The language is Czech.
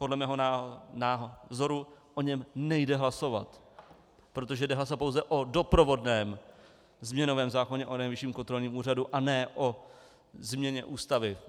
Podle mého názoru o něm nejde hlasovat, protože jde hlasovat pouze o doprovodném změnovém zákoně o Nejvyšším kontrolním úřadu a ne o změně Ústavy.